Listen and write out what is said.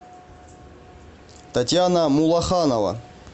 татьяна мулаханова